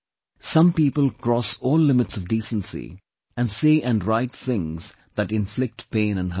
Some people cross all limits of decency and say and write things that inflict pain and hurt